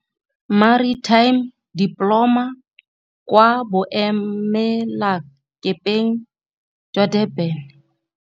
Maritime Diploma kwa Boemelakepeng jwa Durban.